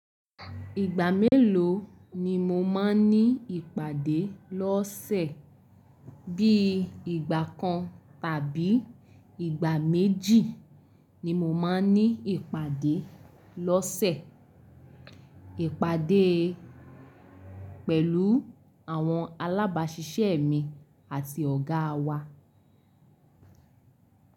Ìgbà mélòó ni mo máa ń ní ìpàdé lọ́sẹ̀? Bí ìgbà kan tàbí ìgbà méjì ni mo máa ń ní ìpàdé lọ́sẹ̀. Ìpàdé pẹ̀lú àwọn alábàásisẹ́ mi àti ọ̀gá wa.